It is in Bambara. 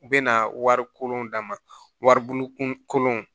U bɛna warikolon d'a ma waribon kunkolon